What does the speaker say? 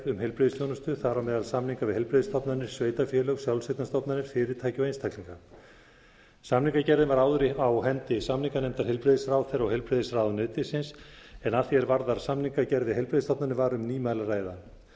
um heilbrigðisþjónustu þar á meðal samninga við heilbrigðisstofnanir sveitarfélög sjálfseignarstofnanir fyrirtæki og einstaklinga samningagerðin var áður á hendi samninganefndar heilbrigðisráðherra og heilbrigðisráðuneytisins en að því er varðar samningagerð við heilbrigðisstofnanir var um nýmæli að ræða